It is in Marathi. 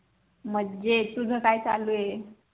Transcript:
मजेत तुज काय चालु आहे